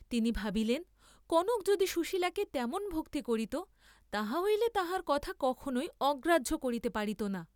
তিনি ভাবিলেন, কনক যদি সুশীলাকে তেমন ভক্তি করিত, তাহা হইলে তাঁহার কথা কখনই অগ্রাহ্য করিতে পারিত না।